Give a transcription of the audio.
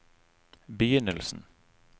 begynnelsen